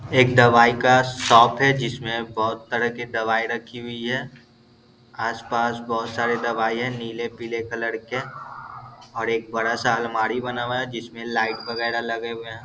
एक दवाई का शॉप है जिसमे बोहत तरह की दवाई रखी हुई है आस पास बहुत सारे दवाई है नीले पीले कलर के और एक बड़ा सा अलमारी बना हुआ है जिसमे लाइट वगेरा लगे हुए है।